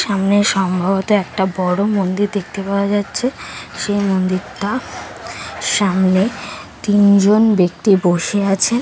সামনে সম্ভবত একটা বড়ো মন্দির দেখতে পাওয়া যাচ্ছে। সেই মন্দিরটা সামনে তিনজন ব্যক্তি বসে আছে।